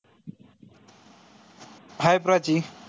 hi Prachi